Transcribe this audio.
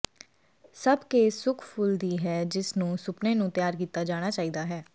ਸਭ ਕੇਸ ਸੁੱਕ ਫੁੱਲ ਦੀ ਹੈ ਜਿਸ ਨੂੰ ਸੁਪਨੇ ਨੂੰ ਤਿਆਰ ਕੀਤਾ ਜਾਣਾ ਚਾਹੀਦਾ ਹੈ